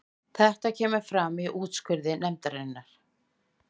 Þetta kemur fram í úrskurði nefndarinnar